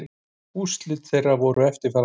Úrslit þeirra voru eftirfarandi